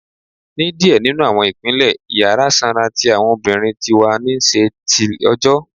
Ni diẹ ninu awọn ipinle, Iyara sanra ti awọn obirin ti wa ni ṣi nṣe till ọjọ.